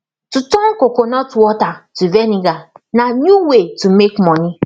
to turn coconut water to vinegar na new way to make money